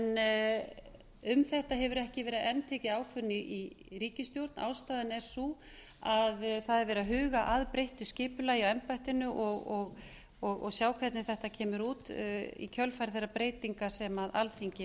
en um þetta hefur ekki verið enn tekin ákvörðun í ríkisstjórn ástæðan er sú að verið er að huga að breyttu skipulagi á embættinu og sjá hvernig þetta kemur út í kjölfar þeirra breytinga sem alþingi